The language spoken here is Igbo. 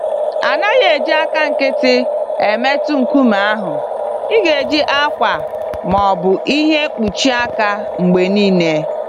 A naghị eji àkà nkịtị emetụ nkume ahụ - igeji akwa ma ọ bụ ìhè mkpuchi aka mgbe niile.